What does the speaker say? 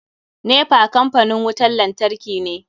NEPA kampanin wutan lantarki ne.